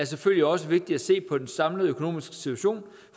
selvfølgelig også vigtigt at se på den samlede økonomiske situation